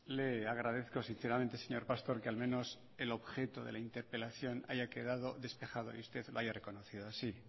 le agradezco sinceramente señor pastor que al menos el objeto de la interpelación haya quedado despejada y usted lo haya reconocido así